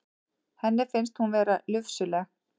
Henni finnst hún vera lufsuleg.